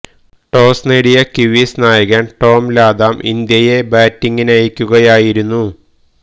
toss നേടിയ Kiwis നായകന് Tom Latham ഇന്ത്യെ ബാറ്റിങ്ങിനയക്കുകയായിരുന്നു